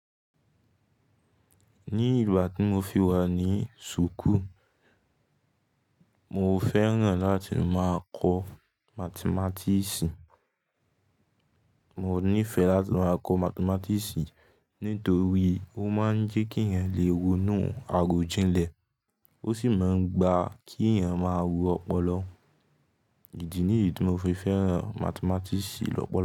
Ní ìgbà tí mo fi wà ní súkù, mo fẹ́ràn láti máa kọ́ Mathematics. Mò nífẹ̀ẹ́ láti máa kọ́ Mathematics nítorí ó máa ń jẹ́ kí èèyàn lè rọnú àròjinlẹ̀, ó sì máa ń gba kí èèyàn máa ro ọpọlọ. Ìdí nìyí tí mo fi fẹ́ràn Mathematics lọ́pọ̀lọ̀